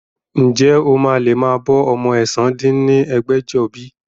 Ǹjẹ́ o máa lè máa bọ́ ọmọ ẹ̀sán dín ní ẹgbẹ́jọ bí?